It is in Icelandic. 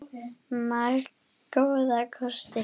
Marga góða kosti.